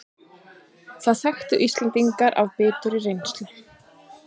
Það þekki Íslendingar af biturri reynslu